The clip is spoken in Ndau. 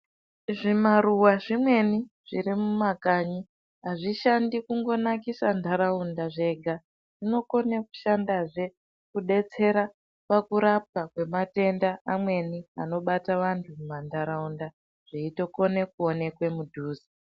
Zvimaruva zvimweni zviri mumakanyi hazvishandi kungonakisa ntaraunda zvega. Zvinokone kushandazve kubetsera pakurapwa kwematenda amweni anobata vantu mumantaraunda, veitokone kuonekwe mudhuze.